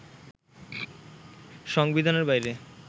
সংবিধানের বাইরে